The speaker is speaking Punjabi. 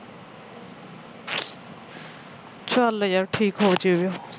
ਚੱਲ ਯਾਰ ਠੀਕ ਹੋ ਜਾਵੇ